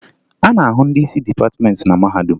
A na-ahụ ndị isi dịpatịmentị na mahadum